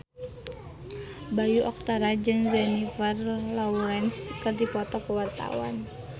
Bayu Octara jeung Jennifer Lawrence keur dipoto ku wartawan